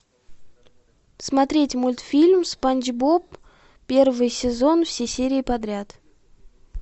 смотреть мультфильм спанч боб первый сезон все серии подряд